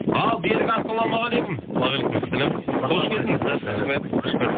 ал берік ассалаумағалейкум уағалейкумассалам қош келдіңіз рахмет қош көрдік